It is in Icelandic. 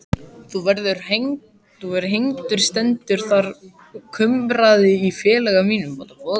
Þú verður hengdur stendur þar kumraði í félaga mínum.